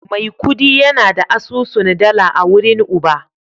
Maikudi yana da asusun dala a wurin Uba